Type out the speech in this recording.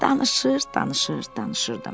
Danışır, danışır, danışırdım.